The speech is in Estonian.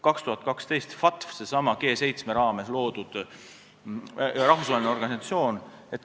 2012 tutvustati FATF-i norme, see on see G7 raames loodud rahvusvaheline organisatsioon.